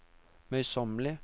møysommelige